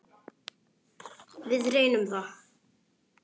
Við reyndum það.